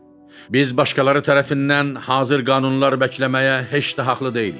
Biz başqaları tərəfindən hazır qanunlar bəkləməyə heç də haqlı deyilik.